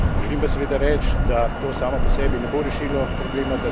Želim pa seveda reči, da to samo po sebi ne bo rešilo problema.